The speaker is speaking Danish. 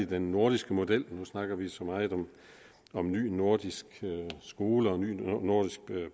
den nordiske model når snakker vi så meget om en ny nordisk skole og en ny nordisk